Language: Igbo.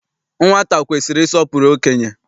Nwata kwesiri ịsọpụrụ okenye.